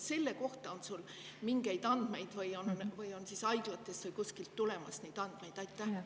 Kas selle kohta on sul mingeid andmeid või on haiglatest või kuskilt mujalt neid andmeid tulemas?